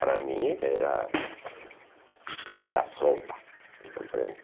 Para mim era era sopa, compreende?